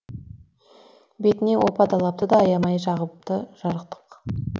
бетіне опа далапты да аямай жағыпты жарықтық